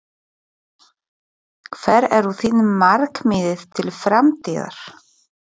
Hver eru þín markmið til framtíðar?